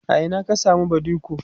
a Ina ka samu badiko?